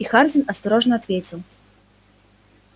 и хардин осторожно ответил